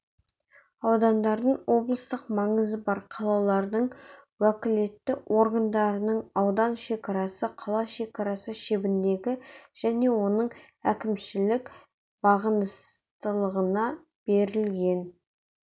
аудандардың облыстық маңызы бар қалалардың уәкілетті органдарының аудан шекарасы қала шекарасы шебіндегі және оның әкімшілік бағыныстылығына берілген